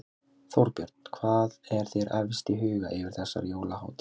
Þorbjörn: Hvað er þér efst í huga yfir þessar jólahátíðar?